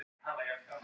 En að treysta honum?